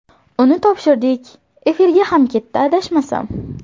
Uni topshirdik, efirga ham ketdi, adashmasam.